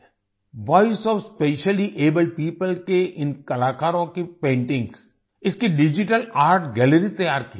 voice O F specially abled people के इन कलाकारों की पेंटिंग्स की डिजिटल आर्ट गैलरी तैयार की है